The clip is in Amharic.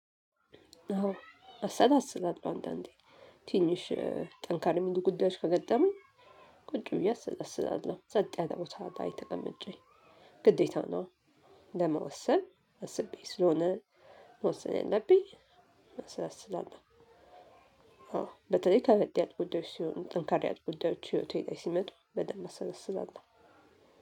አዎ አሰላስላለው አንድ አንዴ ትንሽ ጠንካራ የሚሉ ጉዳዮች ከገጠሙኝ ቁጭ ብዬ አሰላስላለሁ ጽጥ ያለ ቦታ ላይ ተቀምጬ ግዴታ ነው። ለመወሰን አስቤ ስለሆነ መወሰን የለብኝ አሰላ ስላለው። አዎ በተለይ ከበድ ያሉጉዳዮች ሲሆን ጠንከር ያሉ ጉዳዮች ህይወት ላይ ሲመጡ በደንብ አሰላ ስላሉለው።